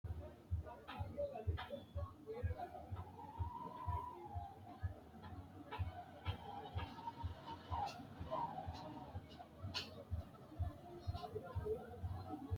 beetto dancha gede biifinse loonsooni faashine uddidhe mannu albaanni albira higge hadhanni leellishshanni no badheseenni lowo manni ofolle no yaate